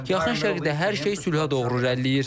Yaxın Şərqdə hər şey sülhə doğru irəliləyir.